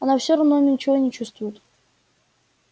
она все равно ничего не чувствует